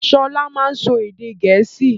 Sọlá máa n sọ èdè gẹ̀ẹ́sì